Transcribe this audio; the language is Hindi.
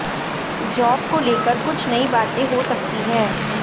जॉब को लेकर कुछ नयी बातें हो सकती है